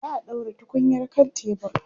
za'a ɗaura tukunyar kan tebur